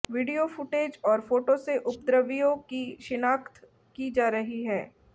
video footage और photo से उपद्रवियों की शिनाख्त की जा रही है